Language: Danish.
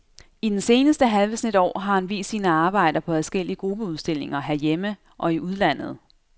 I den seneste halve snes år har han vist sine arbejder på adskillige gruppeudstillinger herhjemme og i udlandet.